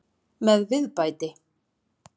Með viðbæti.